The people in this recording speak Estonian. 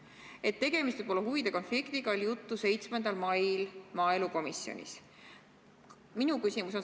Et tegemist võib olla huvide konfliktiga, oli juttu 7. mail maaelukomisjonis.